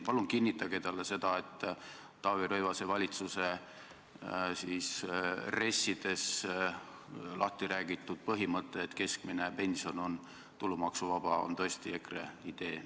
Palun kinnitage talle, et Taavi Rõivase valitsuse RES-ides lahtiräägitud põhimõte, et keskmine pension on tulumaksuvaba, on tõesti EKRE idee.